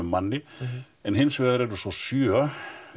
manni en hins vegar eru svo sjö